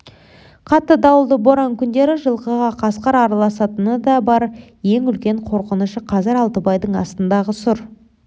қатты дауылды боран күндері жылқыға қасқыр араласатыны да бар ең үлкен қорқынышы қазір алтыбайдың астындағы сұр